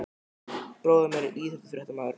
Bróðir minn er íþróttafréttamaður.